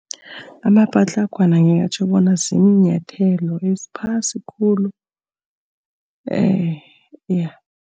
Amapatlagwana ngingatjho bona ziinyathelo eziphasi khulu